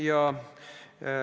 Aitäh, austatud istungi juhataja!